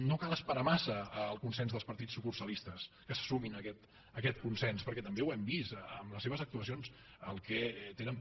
no cal esperar massa el consens dels partits sucursalistes que se sumin a aquest consens perquè també ho hem vist amb les seves actuacions el que tenen per